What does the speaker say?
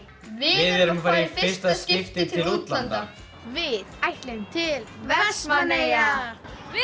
við erum að fara í fyrsta skipti til útlanda við ætlum til Vestmannaeyja við